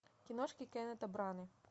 киношки кеннета браны